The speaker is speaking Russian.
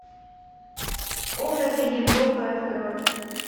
образы европы открой